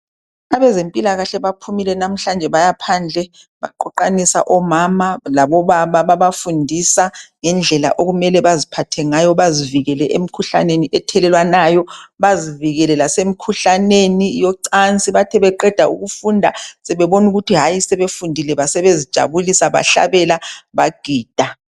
abezempilakahle baphumile namuhlanje bayaphandle baqoqanisa omama labo baba babafundisa ngendlela okumele baziphathe ngayo bazivikele emkhuhlaneni ethelelwanayo bazivikele lasemkhuhlaneni yocansi beqe ukufunda sebebona ukuthi hayi sebefundile basebezijabulisa behlabela bagida